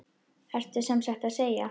Ertu sem sagt að segja.